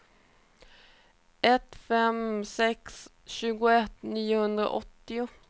ett fem fem sex tjugoett niohundraåttio